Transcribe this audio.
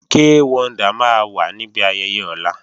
Kay Wonder máa wà níbi ayẹyẹ ọ̀la